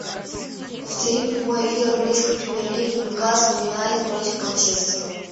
повтори прямой эфир английской премьер лиги ньюкасл юнайтед против манчестера